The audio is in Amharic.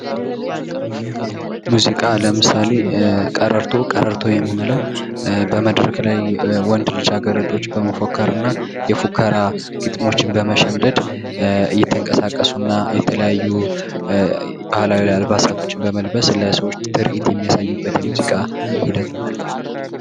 ሙዚቃ ለምሳሌ ቀረርቶ ቀረርቶ የምንለው በመድረክ ላይ ወንድ ልጅ አገረዶች በመፎከርና የፉከራ ግጥሞችን በመሸምደድ እየተንቀሳቀሱና የተለያዩ ባህላዊ አልባሳቶችን በመልበስ ለሰዎች ትርኢት የሚያሳዩበት የሙዚቃ ሂደት ነው።